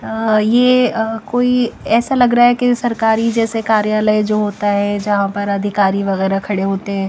अ ये अ कोई ऐसा लग रहा है कि सरकारी जैसे कार्यालय जो होता है जहाँ पर अधिकारी वगैरह खड़े होते हैं --